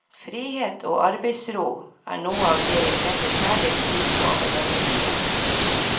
Frihet og arbeidsro er noe av det jeg setter særlig pris på ved denne byen.